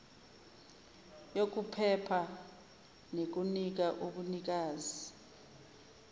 yokuphepha nekunika ubunikazi